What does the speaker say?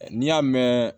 N'i y'a mɛn